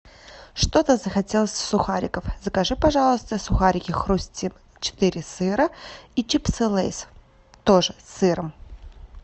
что то захотелось сухариков закажи пожалуйста сухарики хрустим четыре сыра и чипсы лейс тоже с сыром